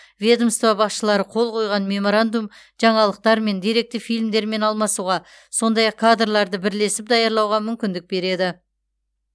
ведомство басшылары қол қойған меморандум жаңалықтармен деректі фильмдермен алмасуға сондай ақ кадрларды бірлесіп даярлауға мүмкіндік береді